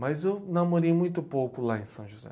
Mas eu namorei muito pouco lá em São José.